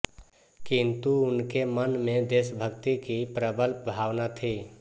किन्तु उनके मन में देशभक्ति की प्रबल भावना थी